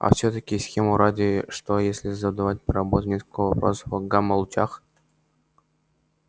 а всё-таки смеху ради что если задавать роботам по нескольку вопросов о гамма-лучах